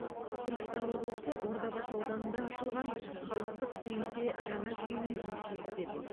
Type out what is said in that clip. түркістан облысы ордабасы ауданында ашылған халықтық кеңсе жаңа жүйемен жұмыс жүргізеді